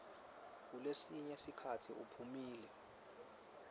kulesinye sikhatsi iphumile